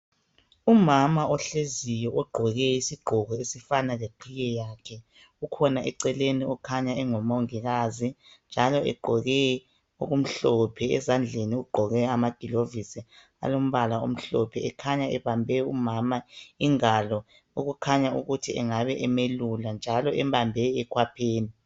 Umama ohleziyo ogqoke isigqoko esifana leqhiye yakhe. Ukhona eceleni, okhanya engumongikazi, njalo egqoke okumhlophe. Ezandleni ugqoke amagilovisi alombala omhlophe. Okhanya ebambe umama ingalo. Okukhanya ukuthi engabe emelula, njalo embambe ekhwapheni.